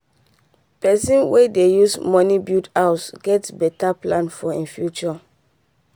person wen dey use money build house get better plan for e future